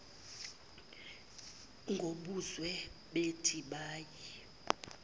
ngobuzwe bethi bayi